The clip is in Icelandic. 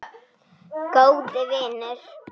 Góði vinur.